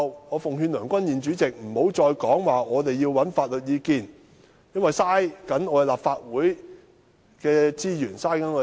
我奉勸梁君彥主席日後不要再提出要尋求法律意見，因為這樣做無疑浪費立法會的資源和金錢。